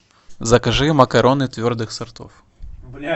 закажи макароны твердых сортов